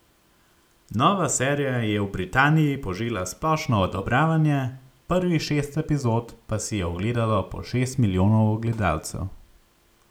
Nova serija je v Britaniji požela splošno odobravanje, prvih šest epizod pa si je ogledalo po šest milijonov gledalcev.